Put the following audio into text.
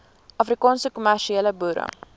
afrikaanse kommersiële boere